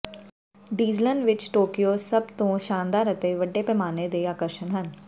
ਡੀਜ਼ਲਨ ਵਿੱਚ ਟੋਕੀਓ ਸਭਤੋਂ ਸ਼ਾਨਦਾਰ ਅਤੇ ਵੱਡੇ ਪੈਮਾਨੇ ਦੇ ਆਕਰਸ਼ਣ ਹਨ